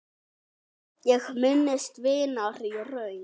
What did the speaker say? Ég minnist vinar í raun.